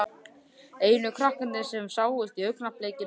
Einu krakkarnir sem sáust í augnablikinu voru hans eigin systur.